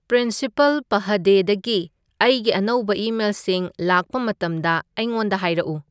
principle ꯄꯍꯗꯦꯗꯒꯤ ꯑꯩꯒꯤ ꯑꯅꯧꯕ ꯏꯃꯦꯜꯁꯤꯡ ꯂꯥꯛꯄ ꯃꯇꯝꯗ ꯑꯩꯉꯣꯟꯗ ꯍꯥꯏꯔꯛꯎ